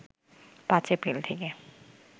৫ April থেকে